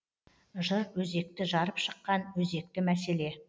жыр өзекті жарып шыққан өзекті мәселе